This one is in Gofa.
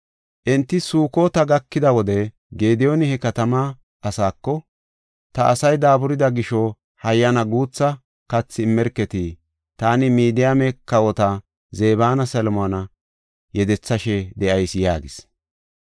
Enti Sukota gakida wode Gediyooni he katamaa asaako, “Ta asay daaburida gisho, hayyana guutha kathi immerketi. Taani Midiyaame kawota Zebanne Salmoona yedethashe de7ayis” yaagis.